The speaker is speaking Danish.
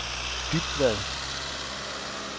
Dybvad